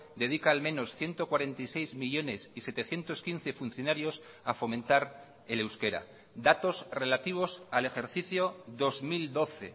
dedica al menos ciento cuarenta y seis millónes y setecientos quince funcionarios a fomentar el euskera datos relativos al ejercicio dos mil doce